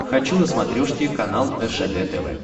хочу на смотрешке канал ржд тв